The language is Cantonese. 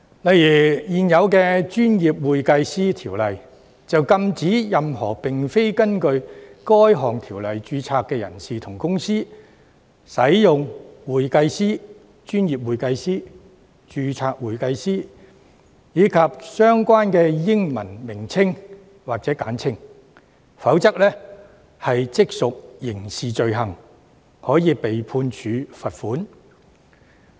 例如現有的《專業會計師條例》便禁止任何並非根據《條例》註冊的人士及公司，使用"會計師"、"專業會計師"、"註冊會計師"及相關的英文稱謂或簡稱，否則即屬刑事罪行，可被判處罰款。